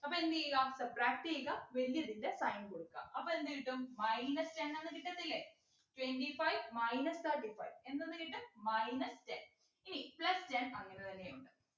അപ്പോ എന്തുചെയ്യുക subtract ചെയ്യുക വലിയതിൻ്റെ sign കൊടുക്ക അപ്പൊ എന്ത് കിട്ടും minus ten എന്ന് കിട്ടത്തില്ലേ twenty five minus thirty five എന്തെന്ന് കിട്ടും minus ten ഇനി plus ten അങ്ങനെ തന്നെ ഉണ്ട്